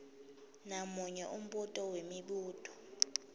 namunye umbuto wemibuto